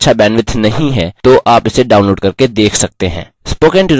यदि आपके पास अच्छा bandwidth नहीं है तो आप इसे download करके देख सकते हैं